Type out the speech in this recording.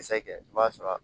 kɛ i b'a sɔrɔ